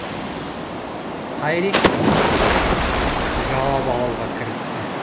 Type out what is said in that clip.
қайрекең түсін суытып жауап алуға кірісті